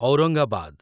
Aurangabad